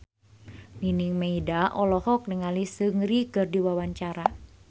Nining Meida olohok ningali Seungri keur diwawancara